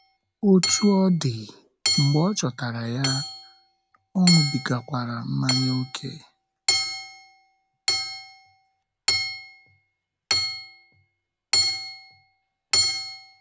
Otú ọ dị, mgbe ọ chọtara ya, ọṅụbigakwara mmanya ókè.